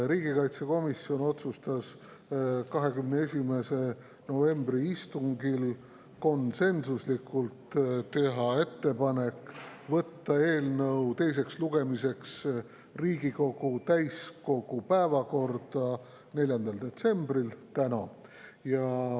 Riigikaitsekomisjon otsustas 21. novembri istungil konsensuslikult teha ettepaneku võtta eelnõu teiseks lugemiseks Riigikogu täiskogu päevakorda 4. detsembriks ehk tänaseks.